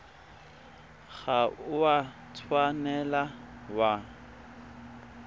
ga o a tshwanela wa